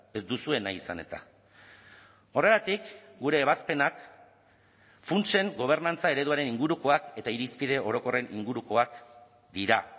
ez duzue nahi izan eta horregatik gure ebazpenak funtsen gobernantza ereduaren ingurukoak eta irizpide orokorren ingurukoak dira